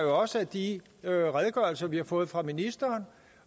også af de redegørelser vi har fået fra ministeren